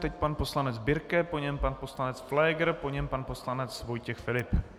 Teď pan poslanec Birke, po něm pan poslanec Pfléger, po něm pan poslanec Vojtěch Filip.